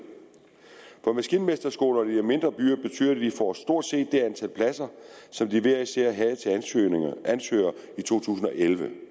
for maskinmesterskolerne i de mindre byer betyder det at de får stort set det antal pladser som de hver især havde til ansøgere i to tusind og elleve